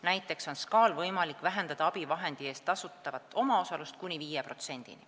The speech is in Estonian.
Näiteks on SKA-l võimalik vähendada abivahendi eest tasutavat omaosalust kuni 5%-ni.